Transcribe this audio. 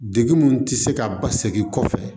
Degun mun ti se ka basigi kɔfɛ